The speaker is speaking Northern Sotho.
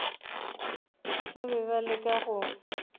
ba be ba leka go